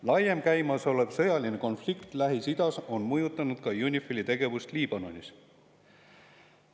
Laiem käimasolev sõjaline konflikt Lähis-Idas on mõjutanud ka UNIFIL-i tegevust Liibanonis.